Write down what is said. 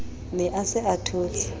ne a se a thotse